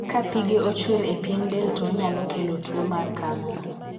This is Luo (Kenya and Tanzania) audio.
Ka pige ochwer e pien del to onyalo kelo tuo mar kansa.